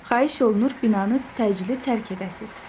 Xahiş olunur binanı təcili tərk edəsiniz.